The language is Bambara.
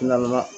Na